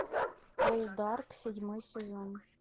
полдарк седьмой сезон